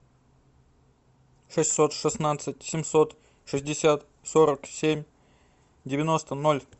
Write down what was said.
шестьсот шестнадцать семьсот шестьдесят сорок семь девяносто ноль